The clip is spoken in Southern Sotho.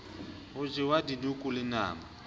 hwa jewa dikuku le nama